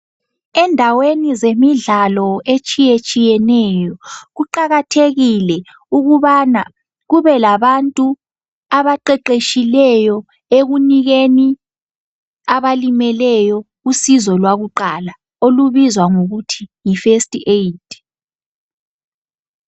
Endaweni zemidlalo etshiyetshiyeneyo kuqakathekile ukubana kubelabantu abaqeqetshileyo ekunikeni abalimeleyo usizo lwakuqala olubizwa ngokuthi yifirst aid.